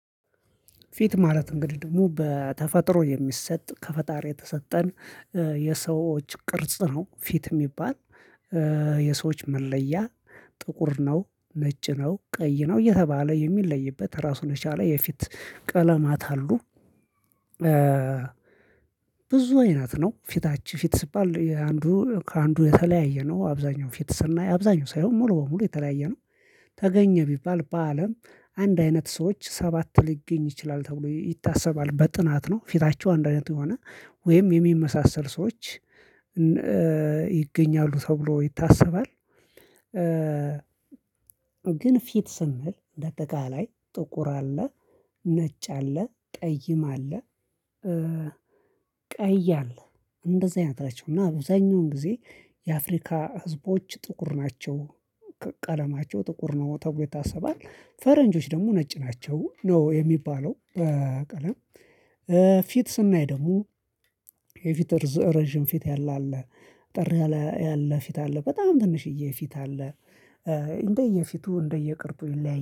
ፊት ማለት እንግዲህ ደግሞ በተፈጥሮ የሚሰጥ ከፈጣሪ የተሰጠን የሰዎች ቅርጽ ነው። ፊት የሚባል። የሰዎች መለያ ጥቁር ነው ነጭ ነው ቀይ ነው እየተባለ የሚለይበት ራሱን የቻለ የፊት ቀለማት አሉ። ብዙ አይነት ነው ፊታችን ፊት ሲባል አንዱ ከአንዱ የተለያየ ነው። አብዛኛው ፊት ስናይ አብዛኛው ሳይሆን ሙሉ በሙሉ የተለያየ ነው። ተገኘ ቢባል በአለም አንድ አይነት ሰዎች ሰባት ሊገኝ ይችላል ተብሎ ይታሰባል በጥናት ነው። ፊታቸው አንድ አይነት የሆነ ወይም የሚመሳል ሰዎች ይገኛሉ ተብሎ ይታሰባል። ግን ፊት ስንል እንደ አጠቃላይ ጥቁር አለ። ነጭ አለ ጠይም አለ። ቀይ አለ እንደዚህ አይነት ናቸው። እና አብዛኛውን ጊዜ የአፍሪካ ህዝቦች ጥቁር ናቸው። ቀለማቸው ጥቁር ነው ተብሎ ይታሰባል ፈረንጆች ደግሞ ነጭ ናቸው ነው የሚባለው በቀለም። ፊት ስናይ ደግሞ የፊት ረጅም ፊት ያለ አለ። አጠር ያለ አለ ፊት አለ በጣም ትንሽዬ ፊት አለ። እንደየፊቱ እንደየቅርፁ ይለያያል